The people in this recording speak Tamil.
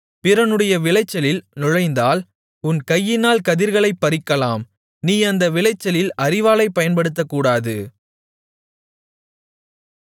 பிறனுடைய விளைச்சலில் நுழைந்தால் உன் கையினால் கதிர்களைப் பறிக்கலாம் நீ அந்த விளைச்சலில் அரிவாளைப் பயன்படுத்தக்கூடாது